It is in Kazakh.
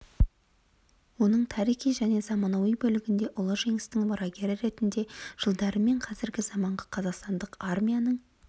оның тарихи және заманауи бөлігінде ұлы жеңістің мұрагері ретінде жылдары мен қазіргі заманғы қазақстандық армияның